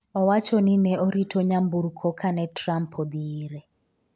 owacho ni ne orito nyamburko kane Trump odhi ire